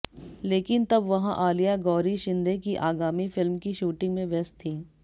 लेकिन तब वहां आलिया गौरी शिंदे की आगामी फिल्म की शूटिंग में व्यस्त थीं